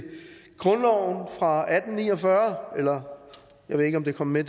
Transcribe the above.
grundloven fra atten ni og fyrre jeg ved ikke om det kom med